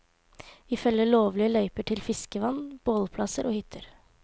Vi følger lovlige løyper til fiskevann, bålplasser og hytter.